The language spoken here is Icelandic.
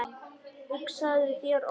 Hugsaðu þér Óli!